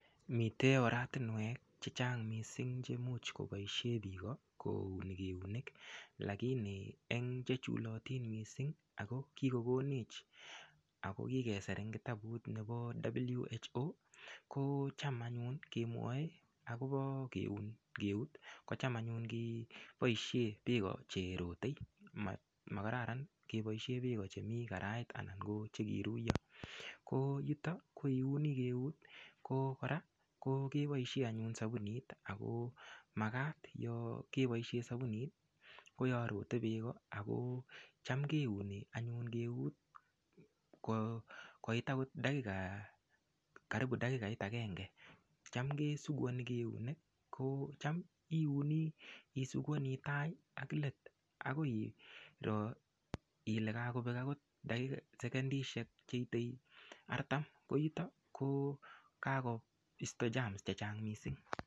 Mitei oratinwek chechang' mising che much koboishe biko kouni keunek lakini[ca] eng' chechulotin mising ako kikokonech ako kikeser eng' kitabut nebo WHO kocham anyun kemwoei akobo keuni keut kocham anyun koboishe beko cherotei makararan keboishe beko chemi karait anan ko chekiruiyo ko yuto ko iuni eut ko kora keboishe anyun sabunit ako makat yo keboishe sabunit ko yo rotei beko ako cham keuni anyun keut koit akot karibu dakikait agenge cham kesukuoni keunek ko cham iuni isukuani tai ak let akoi iro ile kakobek akot sekendishek cheitwi artam ko yoto ko kakoisto germs chechang' mising'